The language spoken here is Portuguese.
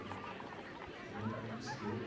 Ele era um cara de esquerda.